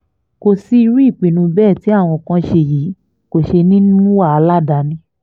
kò sí bí irú ìpinnu bẹ́ẹ̀ tí àwọn kan ṣe yìí kò ṣe ní í mú wàhálà dání